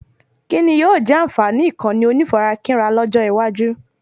Kíni yóò jẹ́ ànfààní Ìkànnì onífarakínra lọ́jọ́ iwájú?